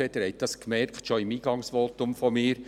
Sie haben dies schon bei meinem Eingangsvotum festgestellt.